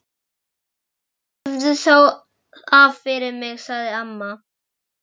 Æ rífðu þá af fyrir mig sagði amma.